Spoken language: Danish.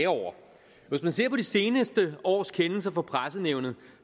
over hvis man ser på det seneste års kendelser fra pressenævnet